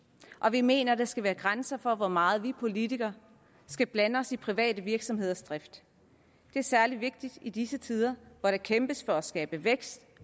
vi mener der skal være grænser for hvor meget vi politikere skal blande os i private virksomheders drift det er særlig vigtigt i disse tider hvor der kæmpes for at skabe vækst